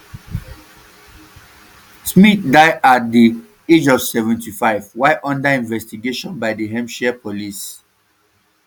smyth die at di um age of seventy-five while under investigation by hampshire police um